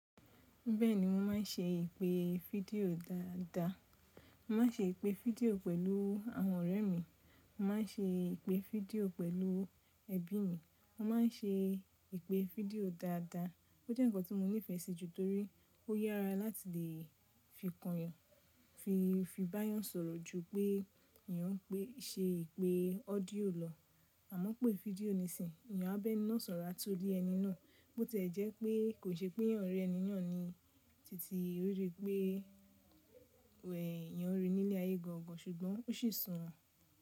Bẹ́ẹ̀ni mo má n ṣe ìpè fídíò dáadáa. Mo má n ṣe ìpè fídíò pẹ̀lú àwọn ọ̀rẹ́ mi, mo má n ṣe ìpè fídíò pẹ̀lú ẹbí mi. Mo má n ṣe ìpè fídíò dáadáa. Ó jẹ́ ǹkan tí mo nífẹsí jù torí ó yára láti lè fi kàn yàn, fi bá yàn sọ̀rọ̀ ju pé ìyẹn pé ṣe ìpè ọ́díò lọ. Àmọ́ pé fídíò nisinyi ìyẹn á bẹ́ inú ọ̀sọ̀rá tó lé ẹni náà. Bo tẹ́ẹ́ jẹ́ pé kò ṣe pé yàn rí ẹni yàn ni titi, o ríi pé wẹ́ yẹn rí i nílé ayé gan gan, ṣùgbọ́n ó sì sùn ún.